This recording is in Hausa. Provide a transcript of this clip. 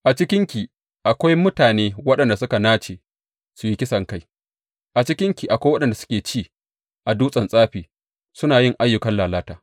A cikinki akwai mutane waɗanda suka nace su yi kisankai; a cikinki akwai waɗanda suke ci a dutsen tsafi suna yin ayyukan lalata.